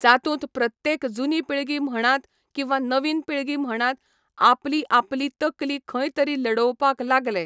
जातूंत प्रत्येक जुनी पिळगी म्हणात किंवा नवीन पिळगी म्हणात, आपली आपली तकली खंय तरी लडोवपाक लागले.